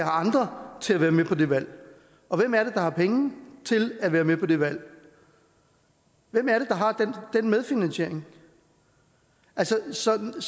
andre til at være med på det valg og hvem er det der har penge til at være med på det valg hvem er det der har den medfinansiering så nej